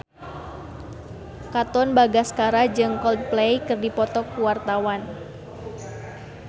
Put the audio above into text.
Katon Bagaskara jeung Coldplay keur dipoto ku wartawan